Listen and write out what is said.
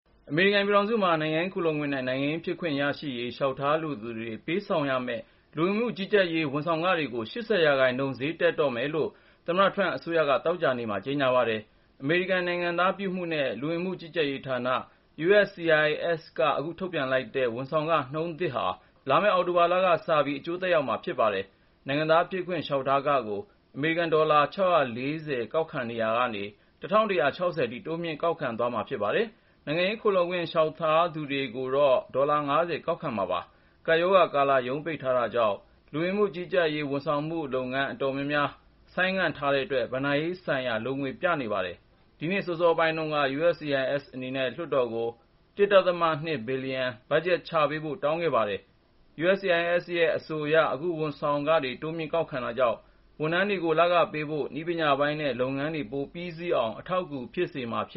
အမေရိကန်ပြည်ထောင်စုမှာ နိုင်ငံရေးခိုလှုံခွင့် နဲ့ နိုင်ငံသားဖြစ်ခွင့် ရရေး လျှောက်ထားလိုသူတွေ ပေးဆောင်ရမယ့် လူဝင်မှုကြီးကြပ်ရေး ဝန်ဆောင်ခ တွေကို ၈၀% ဈေးတက်တော့မယ်လို့ သမ္မတ Trump အစိုးရက သောကြာနေ့မှာ ကြေညာလိုက်ပါတယ်။ အမေရိကန် နိုင်ငံသားပြုမှုနဲ့ လူဝင်မှုကြီးကြပ်ရေးဌာန (USCIS) က အခု အသစ်ထုတ်ပြန်လိုက်တဲ့ ဝန်ဆောင်ခ နှုန်းထားသစ်ဟာ လာမယ့် အောက်တိုဘာလက စပြီး အကျိုးသက်ရောက် လိမ့်မယ်လို့ မှန်းထားပါတယ်။ နိုင်ငံသားဖြစ်ခွင့် လျှောက်ထားခကို အမေရိကန် ဒေါ်လာ (၆၄၀) ကောက်ခံရာကနေ အခု (၁၁၆၀) ထိ တိုးမြှင့်ကောက်ခံသွားမှာဖြစ်ပါတယ်။ နိုင်ငံရေး ခိုလှုံခွင့်လျှောက်ထားသူတွေကို ဒေါ်လာ ၅၀ ကောက်ခံသွားမှာပါ။ ကပ်ရောဂါကာလ ရုံးပိတ်ထားတာကြောင့် (USCIS) ဝန်ဆောင်မှု အတော်များများကို ဆိုင်းငံ့ထားတဲ့အတွက် ဘဏ္ဍာရေးဆိုင်ရာ လိုငွေပြနေတာပါ။ ဒီနှစ်အစောပိုင်းတုန်းက (USCIS) အနေနဲ့ လွှတ်တော်ကို အရေးပေါ် ရန်ပုံငွေ ၁.၂ ဘီလီယံချထားပေးဖို့ တောင်းဆိုခဲ့ပါတယ်။ USCIS ရဲ့ အဆိုအရ အခုလို ဝန်ဆောင်ခတွေတိုးမြှင့်ကောက်ခံတာကြောင့် ဝန်ထမ်းတွေကို လခပေးဖို့၊ နည်းပညာပိုင်းနဲ့ လုပ်ငန်းတွေပြီးမြောက်အောင် အထောက်အကူဖြစ်မှာ ဖြ